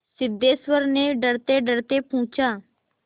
सिद्धेश्वर ने डरतेडरते पूछा